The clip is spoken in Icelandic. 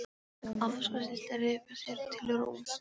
Afstraktlistin er að ryðja sér til rúms.